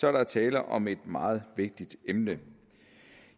er der tale om et meget vigtigt emne